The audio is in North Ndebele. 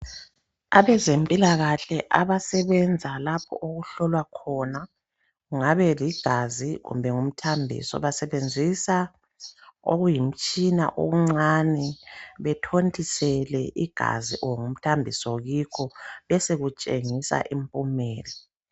Abezempilakahle abasebenza lapha okuhlolwa khona kungaba ligazi kumbe yimthambiso basebenzisa okuyimitshina okuncane bathontisele igazi kumbe umthambiso kikho besekutshengisa impumela.